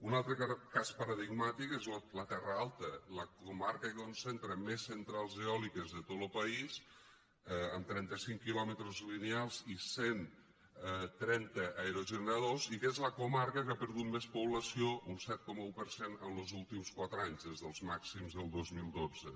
un altre cas paradigmàtic és la terra alta la comarca que concentra més centrals eòliques de tot lo país amb trenta cinc quilòmetres lineals i cent trenta aerogeneradors i que és la comarca que ha perdut més població un set coma un per cent en los últims quatre anys des dels màxims del dos mil dotze